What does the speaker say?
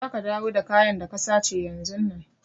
Za ka dawo da kayan da ka sace yanzun nan!